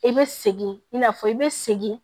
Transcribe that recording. I bɛ segin i n'a fɔ i bɛ segin